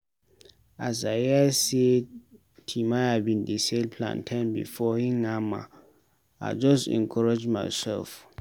As I hear sey Timaya bin dey sell plantain before im hama, I just encourage myself.